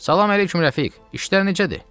Salam əleyküm, Rəfiq, işlər necədir?